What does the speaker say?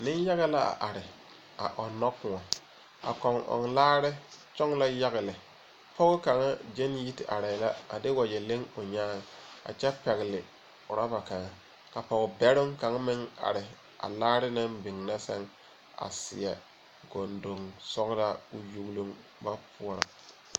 Neŋyaga la are a ͻnnͻ kõͻ. A kͻŋ ͻŋ laare kyoŋ la yaga lԑ. pͻge kaŋa gyԑne yi te arԑԑ la a de wagyԑ leŋ o nyaaŋ a kyԑ pԑgele orͻba kaŋa. Ka pͻge bԑroŋ kaŋa meŋ are a laare naŋ biŋ na sԑŋ a seԑ gondoŋ sͻgelaa koo yugiloŋ ba poͻrͻ.